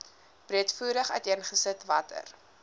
breedvoerig uiteengesit watter